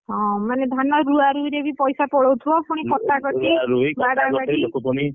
ହଁ ମାନେ ଧାନ ରୁଆରୁଇରେ ବି ପଇସା ପଳଉଥିବ ପୁଣି କଟାକଟି, ବାଡାବାଡି